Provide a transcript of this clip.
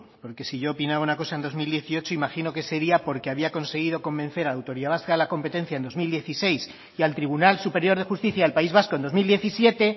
porque si yo opinaba una cosa en dos mil dieciocho imagino que sería porque había conseguido convencer a la autoridad vasca de la competencia en dos mil dieciséis y al tribunal superior de justicia del país vasco en dos mil diecisiete